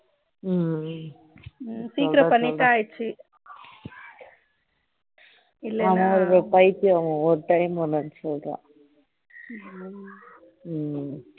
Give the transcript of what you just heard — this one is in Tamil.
சீக்கிரம் பண்ணிட்டா ஆயிடுச்சு இல்லைனா அவன் ஒரு பைத்தியம் ஒவ்வொரு time ஒவ்வொன்னு சொல்றா